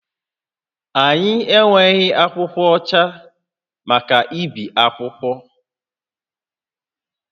Anyị enweghị akwụkwọ ọcha maka ibi akwụkwọ